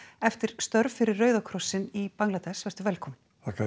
eftir störf fyrir Rauða krossinn í Bangladess vertu velkominn þakka